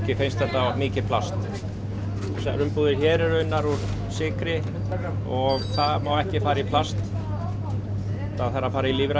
finnst þetta mikið plast þessar umbúðir hér eru unnar úr sykri og það má ekki fara í plast það þarf að fara í lífrænt